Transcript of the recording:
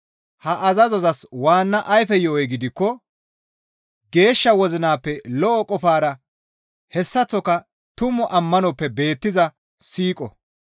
Ha azazozas waanna ayfe yo7oy gidikko geeshsha wozinappe lo7o qofara hessaththoka tumu ammanoppe beettiza siiqo.